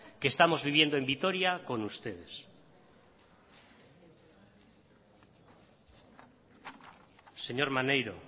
que estamos viviendo en vitoria con ustedes señor maneiro